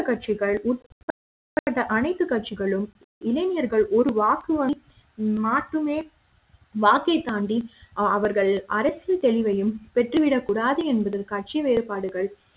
கட்சிகள் உட்பட்ட அனைத்து கட்சிகளும் இளைஞர்களை ஒரு வாக்கு வங்கி மாத்துமே வாக்கை தாண்டி அவர்கள் அரசியல் தெளிவையும் பெற்றுவிடக்கூடாது என்பதில் கட்சி வேறுபாடுகள்